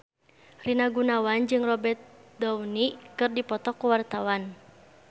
Rina Gunawan jeung Robert Downey keur dipoto ku wartawan